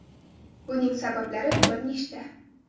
Buning sabablari bir nechta.